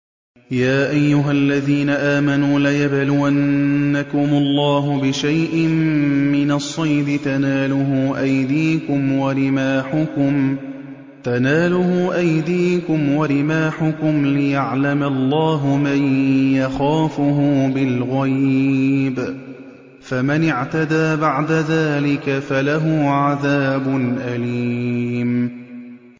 يَا أَيُّهَا الَّذِينَ آمَنُوا لَيَبْلُوَنَّكُمُ اللَّهُ بِشَيْءٍ مِّنَ الصَّيْدِ تَنَالُهُ أَيْدِيكُمْ وَرِمَاحُكُمْ لِيَعْلَمَ اللَّهُ مَن يَخَافُهُ بِالْغَيْبِ ۚ فَمَنِ اعْتَدَىٰ بَعْدَ ذَٰلِكَ فَلَهُ عَذَابٌ أَلِيمٌ